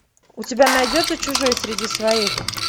у тебя найдется чужой среди своих